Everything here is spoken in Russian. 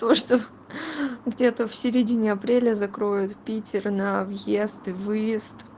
то что где-то в середине апреля закроют питер на въезд и выезд